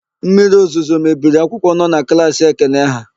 Mmiriozuzo mebiri akwụkwọ nọ na klaasị Ekene ha.